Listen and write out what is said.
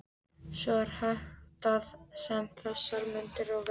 Svo er háttað um þessar mundir, og verður